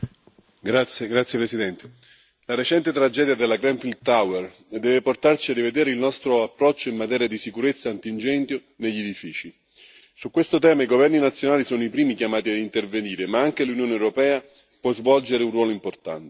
Signor Presidente, onorevoli colleghi, la recente tragedia della Grenfell Tower deve portarci a rivedere il nostro approccio in materia di sicurezza antincendio negli edifici. Su questo tema i governi nazionali sono i primi chiamati a intervenire, ma anche l'Unione europea può svolgere un ruolo importante.